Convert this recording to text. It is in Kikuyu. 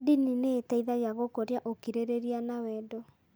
Ndini nĩ iteithagia gũkũria ũkirĩrĩria na wendo.